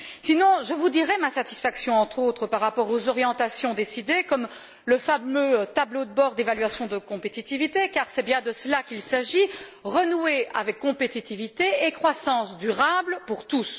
Sinon, je vous dirai ma satisfaction, entre autres, par rapport aux orientations décidées, comme le fameux tableau de bord d'évaluation de la compétitivité, car c'est bien de cela qu'il s'agit renouer avec la compétitivité et la croissance durable pour tous.